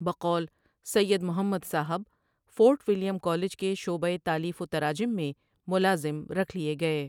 بقول Syed Muhammad Sahib Fort William College کے شعبہئ تالیف و تراجم میں ملازم رکھ لیے گئے